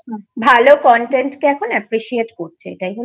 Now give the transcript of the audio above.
ভালো contentকে এখন aappreciate করছে এটাই হলো ব্যাপার।